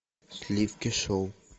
сливки шоу